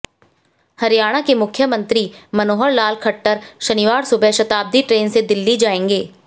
हरियाणा के मुख्यमंत्री मनोहर लाल खट्टर शनिवार सुबह शताब्दी ट्रेन से दिल्ली जाएंगे